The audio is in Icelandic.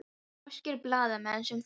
Það voru norskir blaðamenn sem buðu.